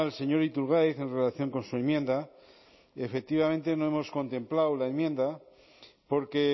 señor iturgaiz en relación con su enmienda efectivamente no hemos contemplado la enmienda porque